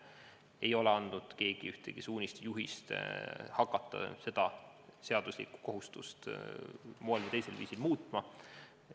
Keegi ei ole andnud ühtegi suunist ega juhist hakata seda seaduslikku kohustust ühel või teisel viisil muutma.